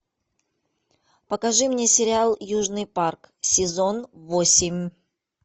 покажи мне сериал южный парк сезон восемь